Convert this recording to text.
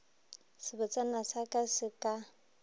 sebotsana sa ka se ka